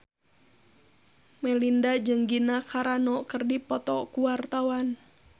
Melinda jeung Gina Carano keur dipoto ku wartawan